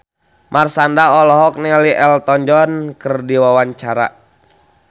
Marshanda olohok ningali Elton John keur diwawancara